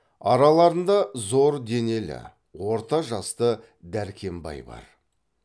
араларында зор денелі орта жасты дәркембай бар